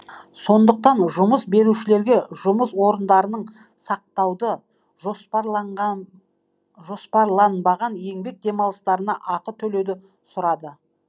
сондықтан жұмыс берушілерге жұмыс орындарының сақтауды жоспарланбаған еңбек демалыстарына ақы төлеуді сұрады